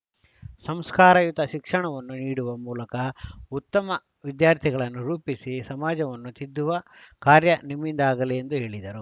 ಸಂಸ್ಕಾರಯುತ ಶಿಕ್ಷಣವನ್ನು ನೀಡುವ ಮೂಲಕ ಉತ್ತಮ ವಿದ್ಯಾರ್ಥಿಗಳನ್ನು ರೂಪಿಸಿ ಸಮಾಜವನ್ನು ತಿದ್ದುವ ಕಾರ್ಯ ನಿಮ್ಮಿಂದಾಗಲಿ ಎಂದು ಹೇಳಿದರು